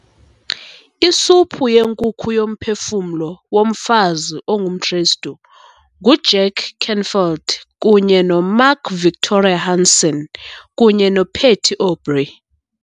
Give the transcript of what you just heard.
Isuphu yenkukhu yoMphefumlo woMfazi ongumKristu nguJack Canfield kunye noMark Victor Hansen kunye noPatty Aubery